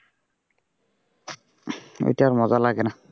এইটা আর মজা লাগেনা।